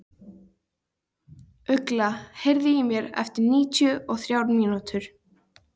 Ugla, heyrðu í mér eftir níutíu og þrjár mínútur.